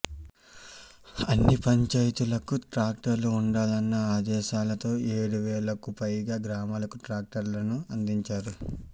అన్ని పంచాయతీలకు ట్రాక్టర్లు ఉండాలన్న ఆదేశాలతో ఏడువేలకుపైగా గ్రామాలకు ట్రాక్టర్లను అందించారు